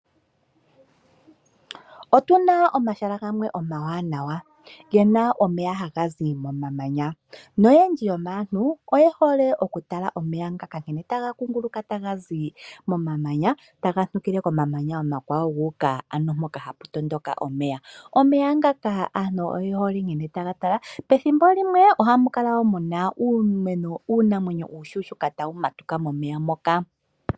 Otuna omahala gamwe omawanawa gena omeya gazi mo mamanya noyendji oye hole okugatala po pethimbo limwe oha mukala muna uunamwenyo tawu matuka.